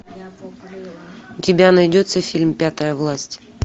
у тебя найдется фильм пятая власть